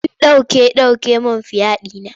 Sun ɗauke ɗauke min fiya ɗina.